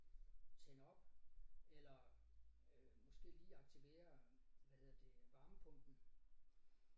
Tænde op eller øh måske lige aktivere hvad hedder det varmepumpen